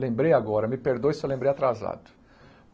Lembrei agora, me perdoe se eu lembrei atrasado.